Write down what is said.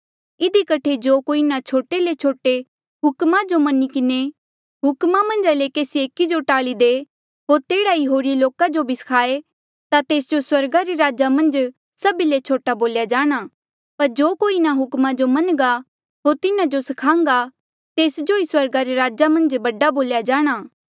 इधी कठे जो कोई इन्हा छोटे ले छोटे हुक्मा मन्झा ले केसी एकी जो टाल्ली दे होर तेह्ड़ा ई होरी लोका जो भी स्खाए ता तेस जो स्वर्गा रे राजा मन्झ सभी ले छोटा बोल्या जाणा पर जो कोई इन्हा हुक्मा जो मन्नघा होर तिन्हा जो स्खाहन्घा तेस जो ई स्वर्गा रे राजा मन्झ बडा बोल्या जाणा